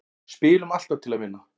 Spilum alltaf til að vinna